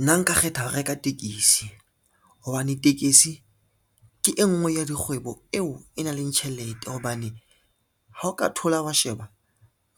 Nna nka kgetha ho reka tekesi, hobane tekesi ke e ngwe ya dikgwebo eo e nang le tjhelete, hobane ha o ka thola wa sheba